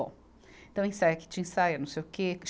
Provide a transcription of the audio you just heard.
Então, ensaia, que tinha ensaio, é não sei o quê.